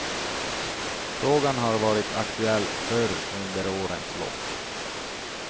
Frågan har varit aktuell förr under årens lopp.